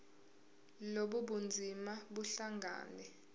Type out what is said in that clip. lobu bunzima buhlangane